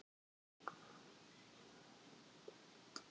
Það var ekki þér að kenna hvernig Nína lét utan í þér.